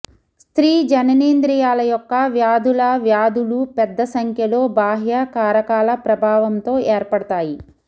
స్త్రీ జననేంద్రియాల యొక్క వ్యాధుల వ్యాధులు పెద్ద సంఖ్యలో బాహ్య కారకాల ప్రభావంతో ఏర్పడతాయి